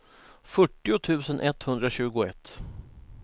fyrtio tusen etthundratjugoett